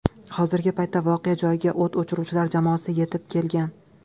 Hozirgi paytda voqea joyiga o‘t o‘chiruvchilar jamoasi yetib kelgan.